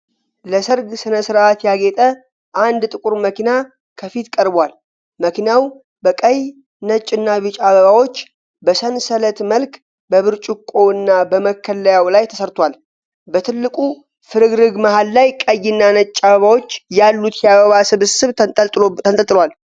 ለሠርግ ሥነ ሥርዓት ያጌጠ አንድ ጥቁር መኪና ከፊት ቀርቧል። መኪናው በቀይ፣ ነጭ እና ቢጫ አበባዎች በሰንሰለት መልክ በብርጭቆው እና በመከለያው ላይ ተሰርቷል። በትልቁ ፍርግርግ መሃል ላይ ቀይና ነጭ አበባዎች ያሉት የአበባ ስብስብ ተንጠልጥሏል።